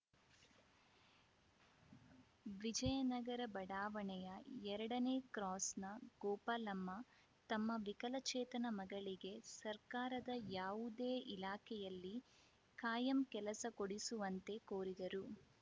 ವಿಜಯನಗರ ಬಡಾವಣೆಯ ಎರಡನೇ ಕ್ರಾಸ್‌ನ ಗೋಪಾಲಮ್ಮ ತಮ್ಮ ವಿಕಲಚೇತನ ಮಗಳಿಗೆ ಸರ್ಕಾರದ ಯಾವುದೇ ಇಲಾಖೆಯಲ್ಲಿ ಕಾಯಂ ಕೆಲಸ ಕೊಡಿಸುವಂತೆ ಕೋರಿದರು